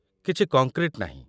କିଛି କଙ୍କ୍ରିଟ୍ ନାହିଁ ।